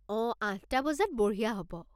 অঁ, আঠটা বজাত বঢ়িয়া হ'ব।